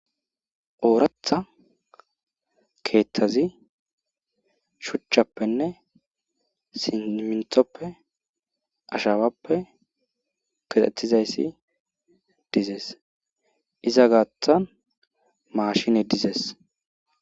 Ooraththa keeththazi shuuchchappenne siminttoppe ashawappe kexettizayssi dizees iza gaaththan maashine dizees